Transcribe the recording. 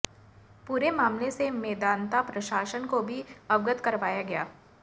पूरे मामले से मेदांता प्रशासन को भी अवगत करवाया गया